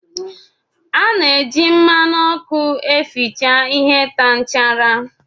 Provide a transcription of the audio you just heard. Ana eji mmanụ ọkụ eficha ihe taa nchara.